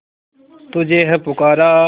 तुझे है पुकारा